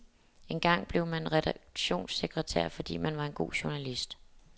Engang blev man redaktionssekretær, fordi man var en god journalist.